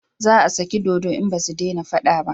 Za a sake dodo in basu dena fada ba